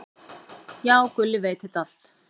"""Já, Gulli veit þetta allt."""